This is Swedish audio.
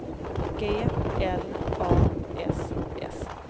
G L A S S